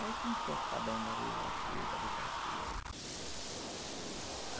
Aí comecei a ficar bem dali, daqui, dali, daqui.